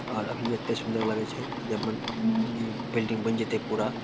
और अभी एते सुन्दर लगे छै ते जब बन जब इ बिल्डिंग बएन जाते पूरा --